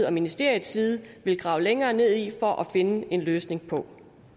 og ministeriets side vil grave længere ned i for at finde en løsning på